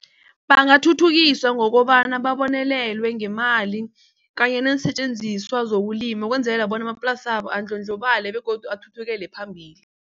Bangathuthukiswa ngokobana babonelelwe ngemali kanye neensetjenziswa zokulima ukwenzelela bona amaplasabo andlondlobale begodu athuthukele phambili.